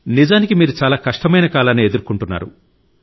నిజానికి మీరు చాలా కష్టమైన కాలాన్ని ఎదుర్కొంటున్నారు